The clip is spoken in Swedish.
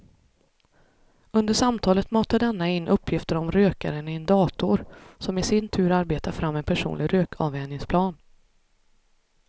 Under samtalet matar denna in uppgifter om rökaren i en dator som i sin tur arbetar fram en personlig rökavvänjningsplan.